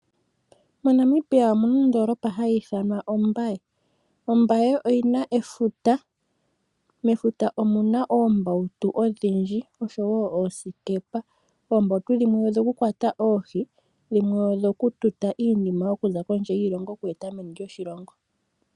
MoNamibia omuna ondolopa hayithanwa Ombaye, Ombaye oyina efuta, mefuta omuna oombawutu odhindji osho wo oosikepa, oombawutu dhimwe odho kukwata oohii dhimwe odho Kututa iinima okuza kondje yiilongo okweta meni lyoshilongo.